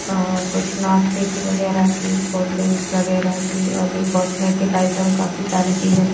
और कुछ नाश्ते की वगैरह की कोल्ड ड्रिंक्स वगैरह की और भी कॉस्मेटिक आइटम काफी सारी चीजें।